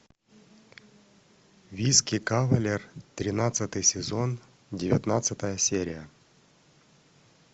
виски кавалер тринадцатый сезон девятнадцатая серия